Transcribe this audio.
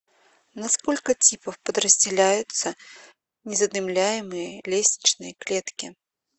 на сколько типов подразделяются незадымляемые лестничные клетки